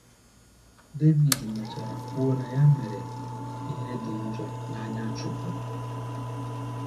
Devid mechara kwuo na ya mere ‘ ihe dị njọ n’anya Chineke. ’